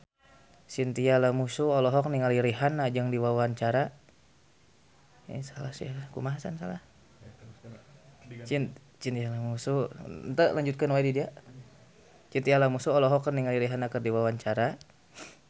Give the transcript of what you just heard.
Chintya Lamusu olohok ningali Rihanna keur diwawancara